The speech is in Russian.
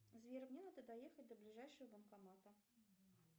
сбер мне надо доехать до ближайшего банкомата